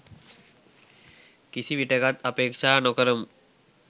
කිසි විටෙකත් අපේක්ෂා නො කරමු.